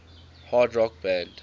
hard rock band